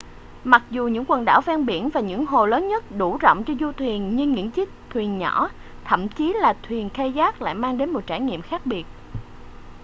mặc dù những quần đảo ven biển và những hồ lớn nhất đủ rộng cho du thuyền nhưng những chiếc thuyền nhỏ thậm chí là thuyền kayak lại mang đến một trải nghiệm khác biệt